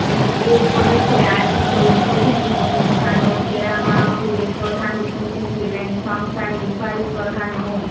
এ উপলক্ষে আয়োজিত উদ্বোধনী অনুষ্ঠান ও দেয়া মাহফিলে প্রধান অতিথি ছিলেন সংস্থার নির্বাহী প্রধান মো